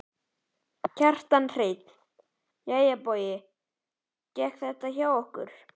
Kjartan Hreinn: Jæja Bogi hvernig gekk þetta hjá okkur?